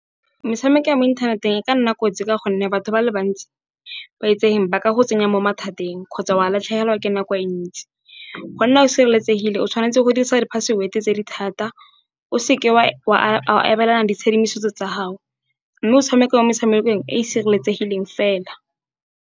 Metshameko ya mo inthaneteng e ka nna kotsi ka gonne, batho ba le bantsi ba itsegeng ba ka go tsenya mo mathateng, kgotsa wa latlhegelwa ke nako e ntsi. Go nna o sireletsegile o tshwanetse go dirisa di-password tse di thata, o seke wa a abelana ditshedimosetso tsa gago. Mme o tshameka mo metshamekong e e sireletsegileng fela.